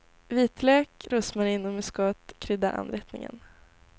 Vitlök, rosmarin och muskot kryddar anrättningen.